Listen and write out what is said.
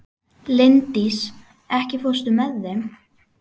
Linddís, ekki fórstu með þeim?